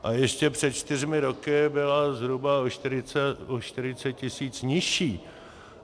A ještě před čtyřmi roky byla zhruba o 40 tisíc nižší.